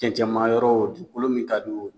Cɛncɛnmayɔrɔ o dugukolo min ka di o